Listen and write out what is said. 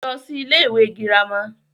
lọ sí ilé ìwé girama